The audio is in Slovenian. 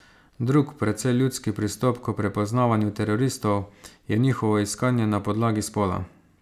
Drug, precej ljudski pristop k prepoznavanju teroristov, je njihovo iskanje na podlagi spola.